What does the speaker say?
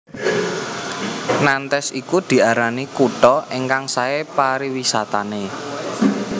Nantes iku diarani kutha ingkang sae pariwisatane